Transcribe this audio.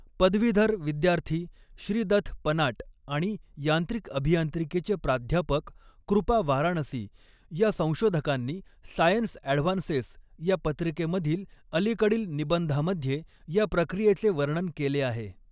पदवीधर विद्यार्थी श्रीदथ पनाट आणि यांत्रिक अभियांत्रिकीचे प्राध्यापक कृपा वाराणसी या संशोधकांनी सायन्स ॲडव्हान्सेस या पत्रिकेमधील अलिकडील निबंधामध्ये या प्रक्रियेचे वर्णन केले आहे.